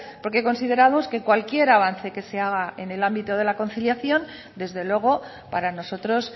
porque consideramos que cualquier avance que se haga en el ámbito de la conciliación desde luego para nosotros